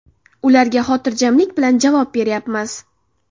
Ularga xotirjamlik bilan javob beryapmiz.